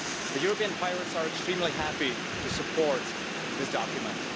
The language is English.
The European Pirates are extremely happy to support this document.